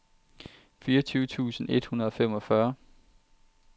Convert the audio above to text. fireogtyve tusind et hundrede og femogfyrre